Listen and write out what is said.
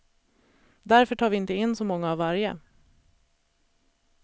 Därför tar vi inte in så många av varje.